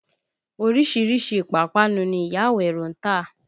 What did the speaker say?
Orísìírísìí ìpápánu ni ìyá Àwẹ̀ró ń tà